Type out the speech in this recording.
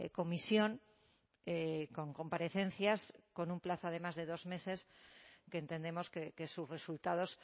comisión con comparecencias con un plazo además de dos meses que entendemos que sus resultados